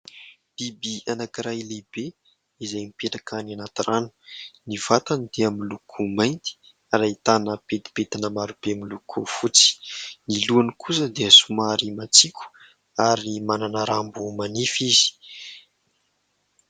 Biby anankiray lehibe izay mipetraka any anaty rano. Ny vatany dia miloko mainty ary ahitana pentipentina marobe miloko fotsy. Ny lohany kosa dia somary matsilo ary manana rambo manify izy.